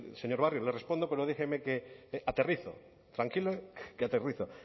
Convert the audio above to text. señor barrio le respondo pero déjeme que aterrizó tranquilo que aterrizo